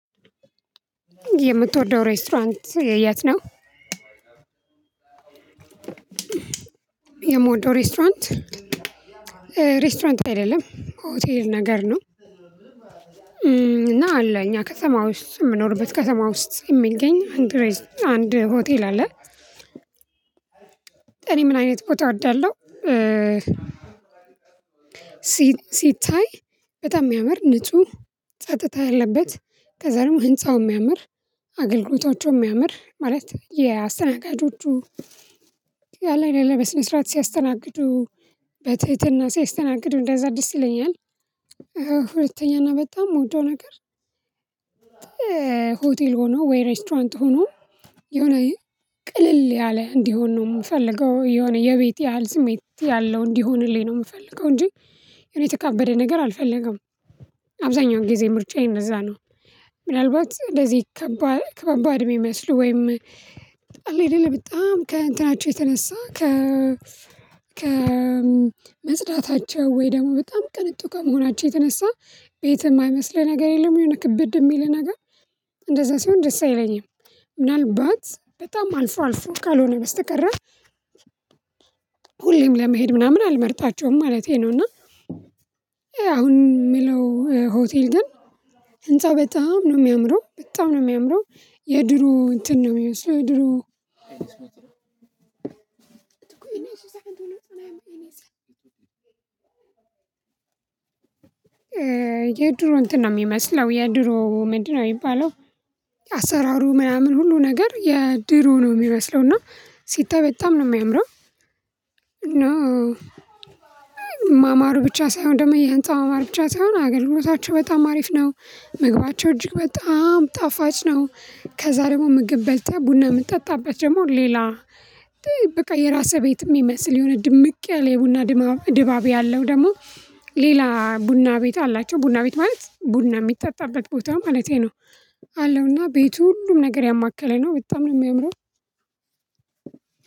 የምትወደው ሬስቶራንት የት ነው? ሬስቶራንት ሬስቶራንት አይደለም ሆቴል ነገር ነው። እና አለ እኛ ከተማ ውስጥ የምኖርበት ከተማ ውስጥ የሚገኝ አንድ ሆቴል አለ። እኔ ምን አይነት ቦታ እወዳለሁ? ሲታይ በጣም የሚያምር ንጹህ ጸጥታ ያለበት ከዛ ደግሞ ህንፃው የሚያምር አገልግሎታቸው የሚያምር ማለት የአስተናጋጆቹ አለ አደል ብስንስረኣት ሲያስተናግዱ በትህትና ሲያስተናግዱ እንደዛ ደስ ይለኛል። ሁለተኛና በጣም የምወደው ነገር ሆቴል ሆኖ ወይ ሬስቶራንት ሆኖ የሆነ ቅልል ያለ እንዲሆን ነው የምፈልገው የሆነ የቤት ያህል ስሜት ያለው እንዲሆንልኝ ነው የምፈልገው እንጂ የተካበደ ነገር አልፈልግም አብዛኛው ጊዜ ምርጫዬ እንደዛ ነው። ምናልባት እንደዚህ ከባባድ የሚመስሉ ወይም አለ አይደለ በጣም ከእንትናቸው የተነሳ ከ ከመጽዳታቸው ወይ ደግሞ በጣም ቅንጡ ከመሆናቸው የተነሳ ቤትህ የማይመስልህ ነገር የለም የሆነ ክብድ የሚልህ ነገር እንደዛ ሲሆን ደስ አይለኝም። ምናልባት በጣም አልፎ አልፎ ካልሆነ በስተቀረ ሁሌም ለመሄድ ምናምን አልመርጣቸውም ማለቴ ነው። እና አሁን የምለው ሆቴል ግን ህንፃ በጣም ነው የሚያምረው በጣም ነው የሚያምረው። የድሮ እንትን ነው የሚመስለው የድሮ የድሮ እንትን ነው የሚመስለው የድሮ ምንድነው የሚባለው? አሰራሩ ምናምን ሁሉ ነገር የድሮ ነው የሚመስለው እና ሲታይ በጣም ነው የሚያምረው። እና ማማሩ ብቻ ሳይሆን ደግሞ የህንፃ ማማር ብቻ ሳይሆን አገልግሎታቸው በጣም አሪፍ ነው መግባቸው እጅግ በጣም ጣፋጭ ነው። ከዛ ደግሞ ምግብ በልተ ቡና የምጠጣበት ደግሞ ሌላ በቃ የራስህ ቤት የሚመስልህ የሆነ ድምቅ ያለ የቡና ድባብ ያለው ደግሞ ሌላ ቡና ቤት አላቸው ቡና ቤት ማለት ቡና የሚጠጣበት ቦታ ማለቴ ነው። አለውና ቤቱ ሁሉም ነገር ያማከለ ነው በጣም ነው የሚያምረው።